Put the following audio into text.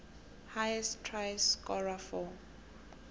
highest try scorer for